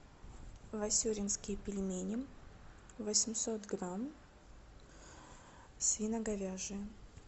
васюринские пельмени восемьсот грамм свино говяжьи